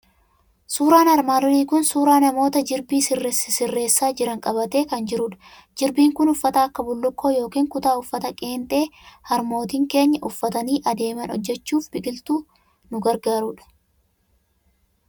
Suuraan armaan olii kun suuraa namoota jirbii sisirreessaa jiran qabatee kan jirudha. Jirbiin kun uffata akka bullukkoo yookiin kutaa, uffata qeenxee harmootiin keenya uffatanii adeeman hojjechuuf biqiltuu nu gargaaru dha.